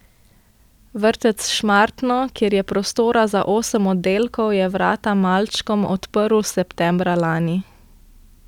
Vrtec Šmartno, kjer je prostora za osem oddelkov, je vrata malčkom odprl septembra lani.